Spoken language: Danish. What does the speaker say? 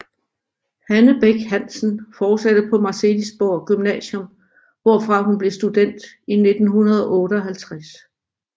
Hanne Bech Hansen fortsatte på Marselisborg Gymnasium hvorfra hun blev student i 1958